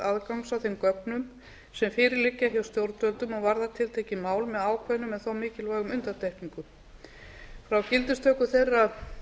aðgangs að þeim gögnum sem fyrir liggja hjá stjórnvöldum og varða tiltekin mál með ákveðnum en þó mikilvægum undantekningum frá gildistöku þeirra